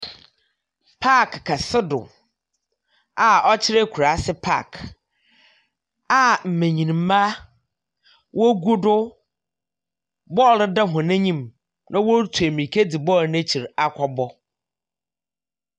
Agoprama kɛse do a ɔkyerɛ akurase agoprama a nbenyini ba ɔgu do na ɔrebɔ bɔɔlo.